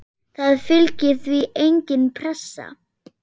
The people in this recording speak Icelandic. Það fylgir því engin pressa.